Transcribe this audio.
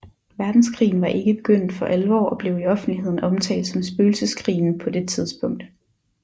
Verdenskrigen var ikke begyndt for alvor og blev i offentligheden omtalt som Spøgelseskrigen på det tidspunkt